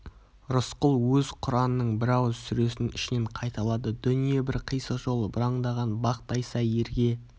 рысқұл өз құранының бір ауыз сүресін ішінен қайталады дүние бір қисық жол бұраңдаған бақ тайса ерге